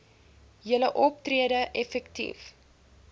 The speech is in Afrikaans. julle optrede effektief